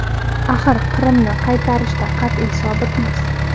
Axir Qrimni qaytarishda qat’iy sobitmiz”.